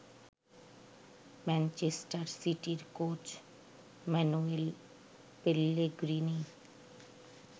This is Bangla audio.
ম্যানচেস্টার সিটির কোচ মানুয়েল পেল্লেগ্রিনি